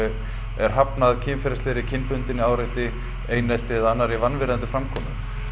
er hafnað kynferðislegu og kynbundnu áreiti einelti eða annarri vanvirðandi framkomu